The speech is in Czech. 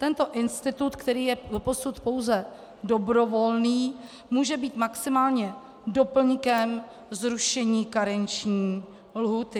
Tento institut, který je doposud pouze dobrovolný, může být maximálně doplňkem zrušení karenční lhůty.